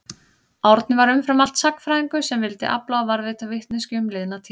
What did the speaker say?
Árni var umfram allt sagnfræðingur sem vildi afla og varðveita vitneskju um liðna tíð.